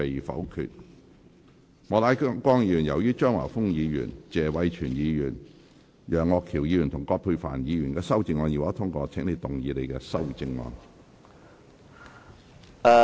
莫乃光議員，由於張華峰議員、謝偉銓議員、楊岳橋議員及葛珮帆議員的修正案已獲得通過，請動議你的修正案。